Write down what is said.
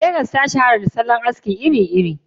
Legas ta shahara da salon aski iri-iri.